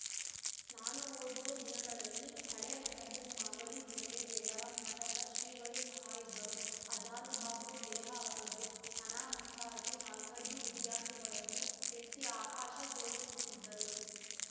ನಾನು ಓದುವ ದಿನಗಳಲ್ಲಿ ಹಳೇ ಮಠದ ಮಾಗಡಿ ಜಡೆದೇವರ ಮಠದ ಶ್ರೀಗಳು ಸಹ ಇದ್ದರು ಆಜಾನುಬಾಹು ದೇಹ ಅವರದ್ದು ಅನಾಮತ್ತಾಗಿ ನಾಲ್ಕೈದು ವಿದ್ಯಾರ್ಥಿಗಳನ್ನು ಎತ್ತಿ ಆಕಾಶ ತೋರಿಸುತ್ತಿದ್ದರು